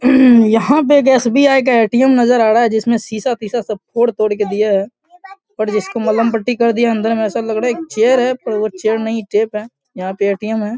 यहाँ पे एक एस.बी.आई. का ए.टी.एम. नजर आ रहा है जिसमे शीशा तिशा सब फोड़-तोड़ के दिया है पर जिसको मलम पटी कर दिया है अंदर मे ऐसा लग रहा है एक चेयर है पर वो चेयर नहीं टेप है यहाँ पे ए.टी.एम. है |